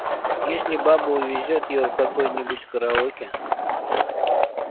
если баба увезёт его в какое-нибудь караоке